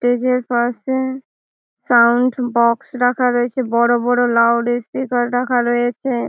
এই যে পাশে সাউন্ড বাক্স রাখা রয়েছে। বড়ো বড়ো লাউড স্পিকার রাখা রয়েছে।